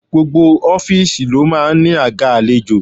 Gbogbo ọ́fíìsì ló máa ń ní àga àlejò.